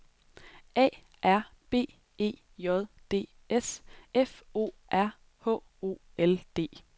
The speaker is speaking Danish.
A R B E J D S F O R H O L D